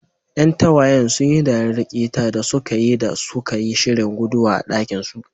Ƴan tagwayen sun yi dariyar ƙetayayin da suka yi da suka yi shirin guduwa a dakinsu.